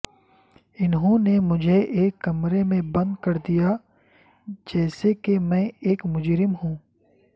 انھوں نے مجھے ایک کمرے میں بند کر دیا جیسے کہ میں ایک مجرم ہوں